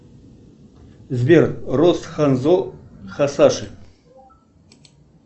сбер рост ханзо хасаши